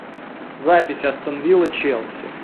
запись астон вилла челси